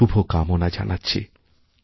শুভকামনা জানাচ্ছি